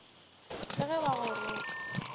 le ge ba go roka